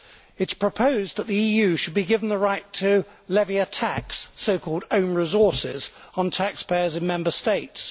It is proposed that the EU should be given the right to levy a tax, so called own resources, on taxpayers in Member States.